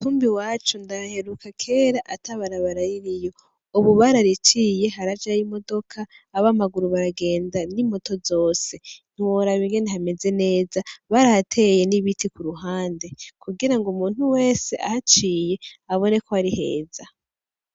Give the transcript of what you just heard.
Kumbe iwacu ndahaheruka kera ata barabara ririyo, ubu barariciye harajayo imodoka aba maguru baragenda n'imoto zose, ntiworaba ingene hameze neza barahateye n'ibiti ku ruhande kugira ngo umuntu wese ahaciye abone ko ari heza.